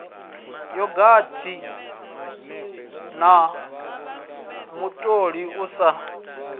yogathi na mutoli u si